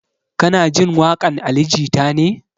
Kana jin waƙan ali jita ne?